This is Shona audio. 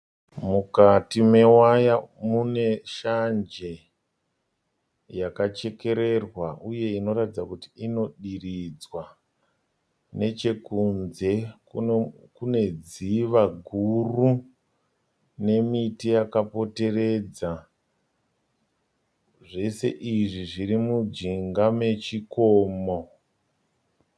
Mukati mewaya mune shanje yakachekererwa uye inoratidza kuti ino diridzwa. Nechekunze Kune dziva guru nemiti yakapoteredza. Zvese izvi zviri mujinga mechikomo.